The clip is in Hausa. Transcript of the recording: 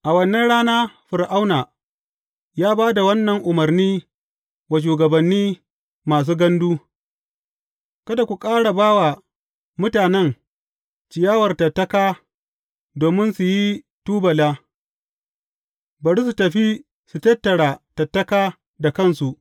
A wannan rana Fir’auna ya ba da wannan umarni wa shugabannin masu gandu, Kada ku ƙara ba wa mutanen ciyawar tattaka domin su yi tubula, bari su tafi su tattara tattaka da kansu.